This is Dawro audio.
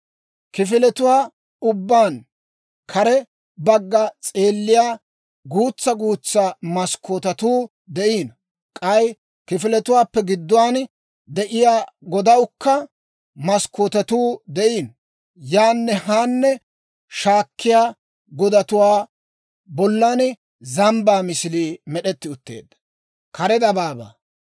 Kifiletuwaa ubbaan kare bagga s'eelliyaa guutsa guutsa maskkootetuu de'iino; k'ay kifiletuwaappe gidduwaan de'iyaa godawukka maskkootetuu de'iino. Yaanne haanne shaakkiyaa godatuwaa bollan zambbaa misilii med'etti utteedda.